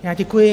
Já děkuji.